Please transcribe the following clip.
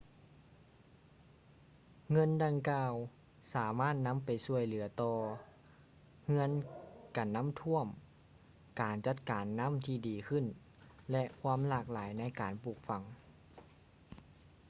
ເງິນດັ່ງກ່າວ ສາມາດນຳໄປຊ່ວຍເຫຼືືອຕໍ່ ເຮືອນກັນນ້ຳຖ້ວມ ການຈັດການນ້ຳທີ່ດີຂຶ້ນ ແລະ ຄວາມຫຼາກຫຼາຍໃນການປູກຝັງ